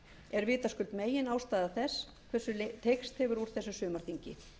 er vitaskuld meginástæða þess hversu teygst hefur úr þessu sumarþingi